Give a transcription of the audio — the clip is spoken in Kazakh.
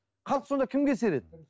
халық сонда кімге сенеді